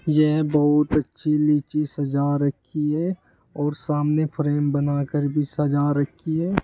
यह बहुत अच्छी लीची सजा रखी है और सामने फ्रेम बनाकर भी सजा रखी है।